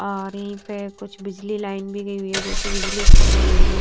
आरी पे कुछ बिजली लाइन भी गई हुई है जोकि बिजली खंबे गड़े हुए--